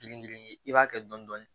Girin girin i b'a kɛ dɔni dɔni